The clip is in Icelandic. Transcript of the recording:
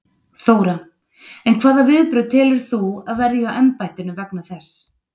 Þóra: En hvaða viðbrögð telur þú að verði hjá embættinu vegna þess?